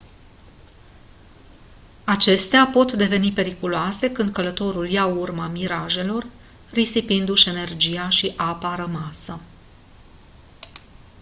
acestea pot deveni periculoase când călătorul ia urma mirajelor risipindu-și energia și apa rămasă